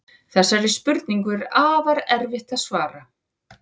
Þessari spurningu er afar erfitt að svara.